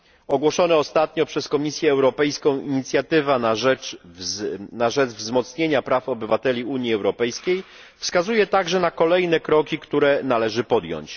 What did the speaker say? Ogłoszona ostatnio przez Komisję Europejską inicjatywa na rzecz wzmocnienia praw obywateli Unii Europejskiej wskazuje także na kolejne kroki, które należy podjąć.